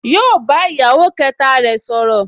Yóò bá ìyàwó kẹta rẹ̀ sọ̀rọ̀